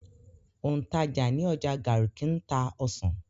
Òǹtajà ní ọjà Garki ń ta ọsàn.